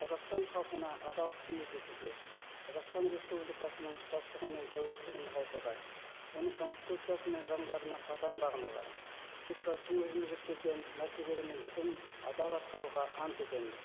қазақстан халқына адал қызмет етуге қазақстан республикасының тұтастығы мен тәуелсіздігін нығайтуға оның конституциясы мен заңдарына қатаң бағынуға депутаттың өзіме жүктелген мәртебелі міндетін адал атқаруға ант етемін